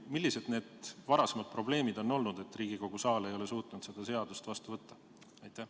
Või millised on olnud varasemad probleemid, et Riigikogu saal ei ole seni suutnud seda seadust vastu võtta?